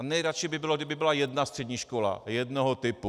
A nejradši by byl, kdyby byla jedna střední škola jednoho typu.